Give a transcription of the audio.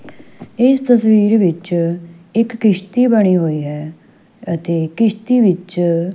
ਇਸ ਤਸਵੀਰ ਵਿੱਚ ਇੱਕ ਕਿਸ਼ਤੀ ਬਣੀ ਹੋਈ ਹੈ ਅਤੇ ਕਿਸ਼ਤੀ ਵਿੱਚ--